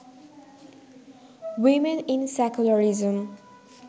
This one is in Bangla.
women in secularism